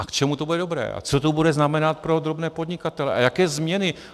A k čemu to bude dobré a co to bude znamenat pro drobné podnikatele a jaké změny?